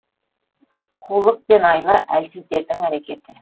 қулық пен айла әлсіздердің әрекеті